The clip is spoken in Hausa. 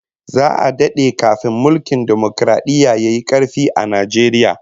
Za'a dade kafin mulkin dimokaradiyya yayi karfi a Najeriya